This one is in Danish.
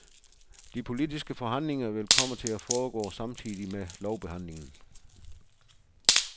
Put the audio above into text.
De politiske forhandlinger vil komme til at foregå samtidig med lovbehandlingen.